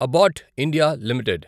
abbot India limited